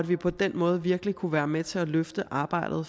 vi på den måde virkelig kunne være med til at løfte arbejdet